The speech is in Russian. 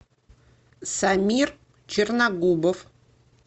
самир черногубов